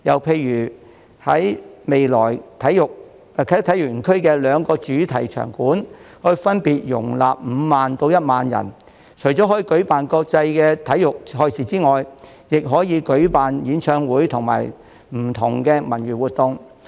此外，未來啟德體育園的兩個主場館分別可容納5萬人及1萬人，除可舉辦國際體育賽事外，亦可舉辦演唱會及不同的文娛活動。